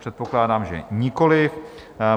Předpokládám, že nikoliv.